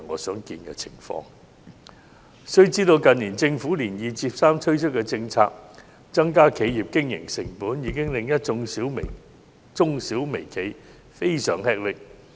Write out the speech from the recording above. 須知道政府近年接二連三推出政策，增加企業經營成本，已令一眾中小微企非常吃力。